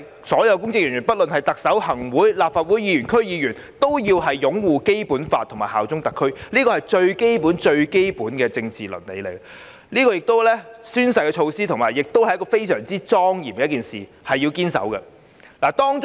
所有公職人員，不論是特首、行政會議成員、立法會議員或區議員，均須擁護《基本法》及效忠特區，這是最基本、最基本的政治倫理，宣誓的舉措亦是非常莊嚴的事，應該堅守。